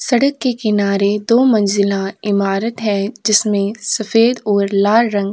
सड़क के किनारे दो मंजिला इमारत है जिसमें सफेद और लाल रंग --